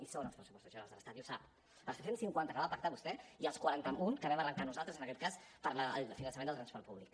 hi són als pressupostos generals de l’estat i ho sap els tres cents i cinquanta que va pactar vostè i els quaranta un que vam arrencar nosaltres en aquest cas per al finançament del transport públic